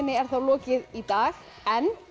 er þá lokið í dag en